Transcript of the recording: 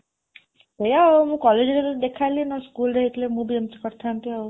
ସେୟା ଆଉ, ମୁଁ କଲେଜରେ ଯେତେବେଳେ ଦେଖା ହେଲି, schoolରେ ହେଇଥିଲେ ମୁଁ ବି ଏମିତି କରିଥାଆନ୍ତି ଆଉ